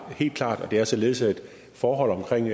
helt klart det er således at forhold omkring